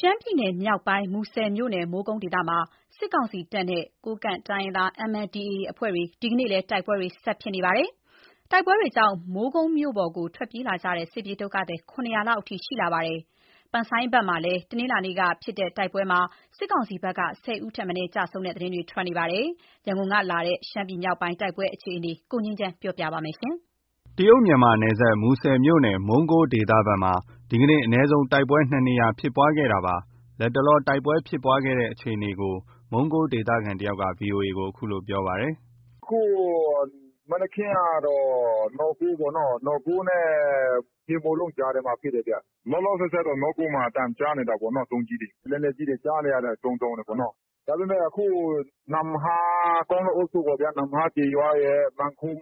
ရှမ်းပြည်နယ်မြောက်ပိုင်း မူဆယ်မြို့နယ် မုံးကိုးဒေသမှာ စစ်ကောင်စီတပ်နဲ့ ကိုးကန့်တိုင်းရင်းသား MNDAA အဖွဲ့တွေ ဒီနေ့လည်း တိုက်ပွဲဆက်လက်ဖြစ်ပွားနေပါတယ်။ တိုက်ပွဲတွေကြောင့် မုံးကိုးမြို့ပေါ်ကို ထွက်ပြေးလာကြတဲ့ စစ်ပြေးဒုက္ခသည် ၇၀၀ လောက်အထိ ရှိနေပါတယ်။ ကြူကုတ် ဘက်မှာ တနင်္လာနေ့က ဖြစ်တဲ့တိုက်ပွဲမှာလည်း စစ်ကောင်စီဘက်က ၁၀ ဦးထက်မနည်း ကျဆုံးတဲ့သတင်းတွေ ထွက်ပေါ်နေပါတယ်။ ရန်ကုန်ကလာတဲ့ ရှမ်းပြည်နယ်မြောက်ပိုင်းက တိုက်ပွဲအခြေအနေကို ငြိမ်းချမ်းက ပြောပြပါမယ်။ တရုတ်- မြန်မာနယ်စပ် မူဆယ်မြို့နယ် မုံးကိုးဒေသဘက်မှာ ဒီကနေ့ အနည်းဆုံး တိုက်ပွဲ ၂နေရာဖြစ်ပွားနေတာပါ ။ လတ်တလော တိုက်ပွဲဖြစ်ပွားနေတဲ့အခြေအနေကို မုံးကိုးဒေသခံတစ်ယောက်က VOA ကို အခုလို ပြောပါတယ်။ “ အခု မနက်ခင်းကတော့ နော့ကိုးပေါ့နော်။ နော့ကိုးနဲ့ ဟေမိုးလုံကြားထဲမှာ ဖြစ်တယ်ဗျ။ လောလောဆည်ဆည်မှာတော့ နော့ကိုးမှာ အသံကြားနေတာပေါ့နော်။ ဒုံးကျည်တွေ၊ လက်နက်ကြီးတွေ ကြားနေရတယ်။ ဒုန်း၊ ဒုန်းနဲ့။ ဒါပေမဲ့ ကောင်းလုံအုပ်စု နမ့်ဟာကျေးရွာရယ်၊ မန်ခုံး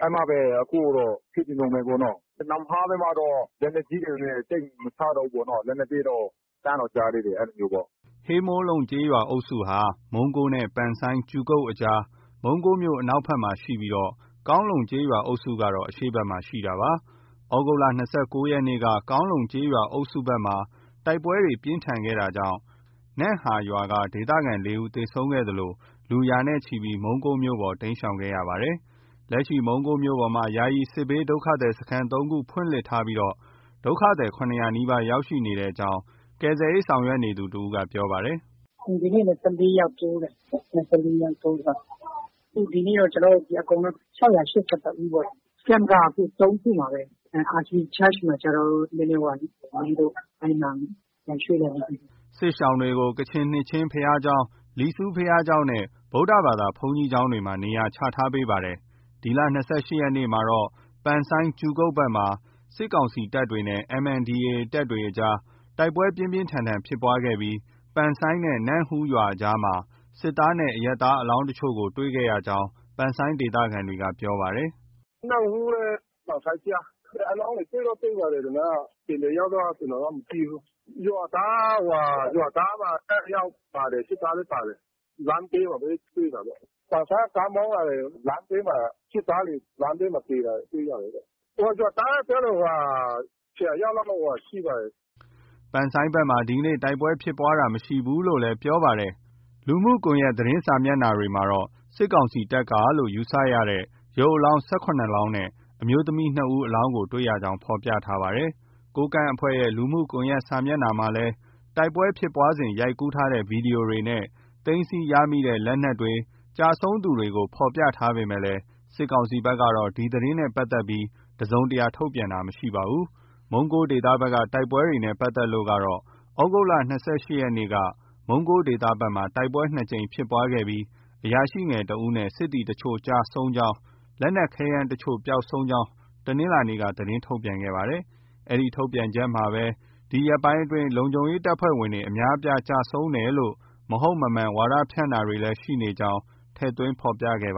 အဲဒီမှာလည်း အခုတော့ ဖြစ်နေတုံးပဲပေါ့နော်။ နမ့်ဟာဘက်မှာတော့ လက်နက်ကြီးတွေနဲ့ သိပ်မချတော့ဘူးပေါ့နော။ လက်နက်သေးတော့ ကြားတော့ ကြားသေးတယ် အဲလိုမျိုးပေါ့။” ဟေမိုးလုံကျေးရွာအုပ်စုဟာ မုံးကိုးနဲ့ ပန်ဆိုင်း အကြား မုံးကိုးမြို့ အနောက်ဖက်မှာရှိပြီး ကောင်းလုံ ကျေးရွာအုပ်စုကတော့ အရှေ့ဘက်မှာ တည်ရှိတာပါ။ သြဂုတ်လ ၂၉ ရက်နေ့က ကောင်းလုံးကျေးရွာအုပ်စုမှာ တိုက်ပွဲပြင်းထန်ခဲ့တာကြောင့် နမ့်ဟာရွာက ဒေသခံ ၄ ဦး သေဆုံးခဲ့သလို လူရာနဲ့ချီပြီး မုံးကိုးမြို့ပေါ်ကို တိမ်းရှောင်ခဲ့ကြရပါတယ်။ လက်ရှိ မုံးကိုးမြို့ပေါ်မှာ ယာယီစစ်ဘေးဒုက္ခသည်စခန်း ၃ ခုဖွင့်လှစ်ထားပြီး ဒုက္ခသည် ၇၀၀ နီးပါး ရောက်ရှိနေကြောင်း ကယ်ဆယ်ရေးဆောင်ရွက်နေသူ တစ်ဦးက ပြောပါတယ်။ “ ဒီနေ့လည်း ၁၄ယောက်တိုးတယ်။ အခုတော့ ဒီနေ့ကျနော်တို့ အကုန်လုံး ၆၈၁ ဦးပေါ့။ Camp က အခု ၃ ခုမှာပဲ။ RC church မှာကျတော့ နည်းနည်း ဝေးလို့ ၊ အဲဒီမှာ မရွှေ့တော့ဘူး။” စစ်ရှောင်တွေကို ကချင်နှစ်ခြင်းဘုရားကျောင်း၊ လီဆူဘုရားကျောင်းနဲ့ ဗုဒ္ဓဘာသာ ဘုန်းကြီးကျောင်းမှာ နေရာချထားပေးပါတယ်။ ဒီလ ၂၈ရက်နေ့ကတော့ ပန်ဆိုင်း ဘက်မှာ စစ်ကောင်စီတပ်နဲ့ MNDAA တပ်အကြား တိုက်ပွဲပြင်းပြင်းထန်ထန်ဖြစ်ခဲ့ပြီး ပန်ဆိုင်းနဲ့ နမ့်ဟူးရွာအကြားမှာ စစ်သားနဲ့ အရပ်သားအလောင်း အချို့ကို တွေ့ရကြောင်း ပန်ဆိုင်းဒေသခံတွေက ပြောပါတယ်။ “ နမ့်ဟူးနဲ့ ပန်ဆိုင်းကြား။ အလောင်းတွေ တွေ့တော့ တွေ့ပါတယ် ဒီမှာက။ ဘယ်နှစ်ယောက်တော့ ကျနော်က မသိဘူး။ ရွာသားက ၂ယောက်ပါတယ်။ စစ်သားလည်း ပါတယ်။ လမ်းဘေးမှာပဲ တွေ့တာပေါ့။ ပန်ဆိုင်းက ကားမောင်းလာတယ် စစ်သားတွေ လမ်းဘေးမှာပဲ သေတာ တွေ့ရတယ်တဲ့။ ရွာသားက ပြောတော့ ၁၀ယောက်လောက်တော့ ရှိပါတယ်။” ပန်ဆိုင်းဘက်မှာ ဒီကနေ့တော့ တိုက်ပွဲဖြစ်ပွားတာ မရှိဘူးလို့လည်း ပြောပါတယ်။ လူမှုကွန်ယက်သတင်းစာမျက်နှာတွေမှာတော့ စစ်ကောင်စီတပ်ကလို့ ယူဆရတဲ့ ရုပ်အလောင်း ၁၇လောင်းနဲ့ အမျိုးသမီး ၂ ဦးအလောင်းကို တွေ့ရကြောင်း ဖော်ပြထားပါတယ်။ ကိုးကန့်အဖွဲ့ရဲ့ လူမှုကွန်ယက်စာမျက်နှာမှာလည်း တိုက်ပွဲဖြစ်ပွားစဉ် ရိုက်ကူးထားတဲ့ ဗီဒီယိုတွေနဲ့ သိမ်းဆည်းရမိတဲ့ လက်နက်တွေ၊ ကျဆုံးသူတွေ ပုံကို ဖော်ပြထားပေမဲ့ စစ်ကောင်စီဘက်ကတော့ ဒီသတင်းနဲ့ပတ်သက်ပြီး တစ်စုံတရာ ထုတ်ပြန်တာ မရှိပါဘူး။ မုံးကိုးဒေသဘက်က တိုက်ပွဲတွေနဲ့ပါတ်သက်လို့တော့ သြဂုတ်လ ၂၈ရက်နေ့က မုံးကိုးဒေသဘက်မှာ တိုက်ပွဲ ၂ ကြိမ်ဖြစ်ပွားခဲ့ပြီး အရာရှိငယ်တစ်ဦးနဲ့ စစ်သည်အချို့ ကျဆုံးကြောင်း၊ လက်နက်ခဲယမ်းအချို့ ပျောက်ဆုံးကြောင်း တနင်္လာနေ့က သတင်းထုတ်ပြန်ခဲ့ပါတယ်။ ဒီထုတ်ပြန်ချက်မှာပဲ ဒီရက်ပိုင်းအတွင်း လုံခြုံရေးတပ်ဖွဲ့ဝင်တွေ အများအပြားကျဆုံးတယ်လို့ မဟုတ်မမှန်ဝါဒဖြန့်တာတွေ ရှိနေကြောင်းလည်း ထည့်သွင်း ဖော်ပြခဲ့ပါ